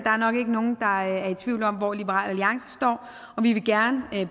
er nok ikke nogen der er i tvivl om hvor liberal alliance står vi vil gerne